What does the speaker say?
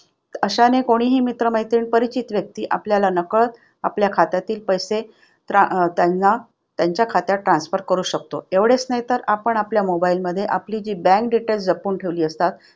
आशाने कोणीही मित्रमैत्रिणी, परिचित व्यक्ती आपल्याला नकळत आपल्या खात्यातील पैसे trans अं त्यांना त्यांच्या खात्यात transfer करू शकतो. तेवढेच नाही तर आपण आपल्या mobile मध्ये आपली bank details जपून ठेवली असतात